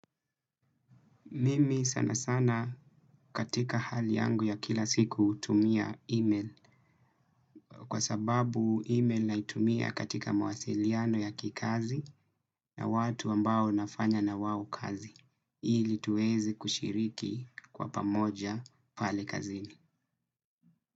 Mimi sanasana katika hali yangu ya kila siku hutumia email kwa sababu email naitumia katika mawasiliano ya kikazi na watu ambao nafanya na wao kazi ili tuweze kushiriki kwa pamoja pale kazini.